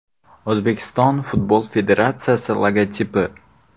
O‘zbekiston Futbol Federatsiyasi logotipi.